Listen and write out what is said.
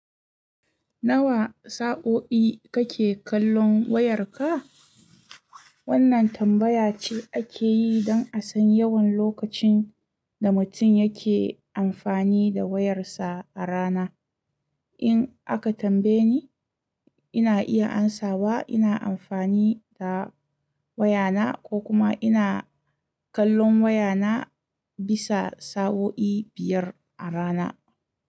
Nawa sa'o'i kake kallon wayarka? Wannan tambaya ce ake yi don a san yawan lokacin da mutum yake amfani da wayarsa a rana. In aka tambaye ni, ina iya amsawa ina amfani da wayana ko kuma ina kallon wayana bisa sa'o'i biyar a rana.